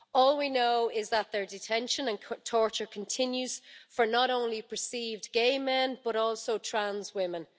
all we know is that their detention and torture continues for not only perceived gay men but also trans women.